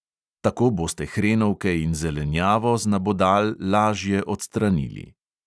Tako boste hrenovke in zelenjavo z nabodal lažje odstranili.